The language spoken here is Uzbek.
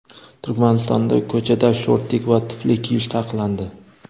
Turkmanistonda ko‘chada shortik va tufli kiyish taqiqlandi.